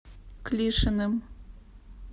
клишиным